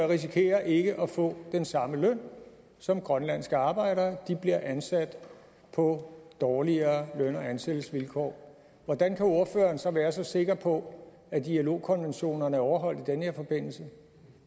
risikerer ikke at få den samme løn som grønlandske arbejdere de bliver ansat på dårligere løn og ansættelsesvilkår hvordan kan ordføreren så være så sikker på at ilo konventionerne er overholdt i den her forbindelse